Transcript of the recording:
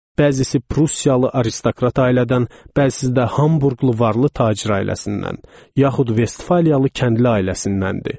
Bəzisi prussiyalı aristokrat ailədən, bəzisi də hamburqlu varlı tacir ailəsindən, yaxud vestfaliyalı kəndli ailəsindəndir.